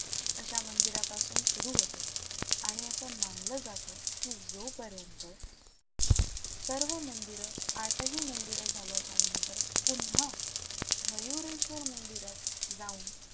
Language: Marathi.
अशा मंदिरापासून सुरु होते आणि असं मानलं जातं की जोपर्यंत सर्व मंदिरं आठही मंदिरं झाल्याच्या नंतर पुन्हा मयुरेश्वर मंदिरात जाऊन,